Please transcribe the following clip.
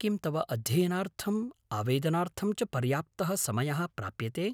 किं तव अध्ययनार्थं, आवेदनार्थं च पर्याप्तः समयः प्राप्यते?